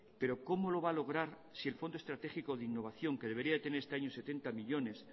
pero cómo lo va a lograr si el fondo estratégico de innovación que debería tener este año setenta millónes